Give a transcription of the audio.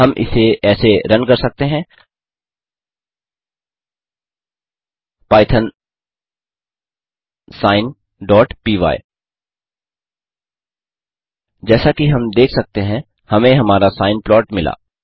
हम इसे ऐसे रन कर सकते हैं पाइथॉन sineपाय पाइथॉन sineपाय जैसा कि हम देख सकते हैं हमें हमारा सिने प्लॉट मिला